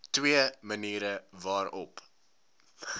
twee maniere waarop